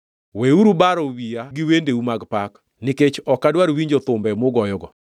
Weuru baro wiya gi wendeu mag pak, nikech ok adwar winjo thumbe mugoyogo.